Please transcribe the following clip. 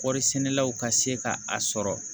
Kɔɔri sɛnɛlaw ka se ka a sɔrɔ